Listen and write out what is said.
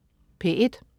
P1: